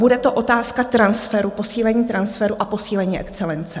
Bude to otázka transferu, posílení transferu a posílení excelence.